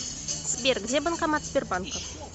сбер где банкомат сбербанка